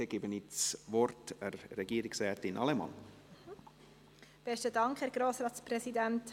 Dann gebe ich Regierungsrätin Allemann das Wort.